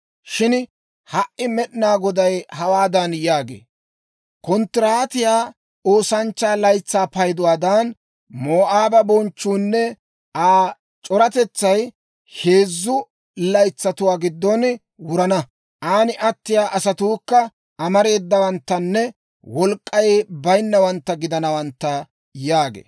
Shin ha"i Med'inaa Goday hawaadan yaagee; «Konttiraatiyaa oosanchchaa laytsaa payduwaadan, Moo'aaba bonchchuunne Aa c'oratetsay heezzu laytsatuwaa giddon wurana; aan attiyaa asatuukka amareedawanttanne wolk'k'ay bayinnawantta gidanawantta» yaagee.